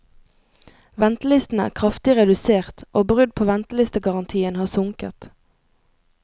Ventelistene er kraftig redusert, og brudd på ventelistegarantien har sunket.